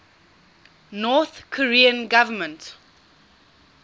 north korean government